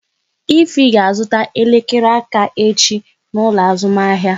Ify ga azụta elekere aka echi n'ụlọ azụmahịa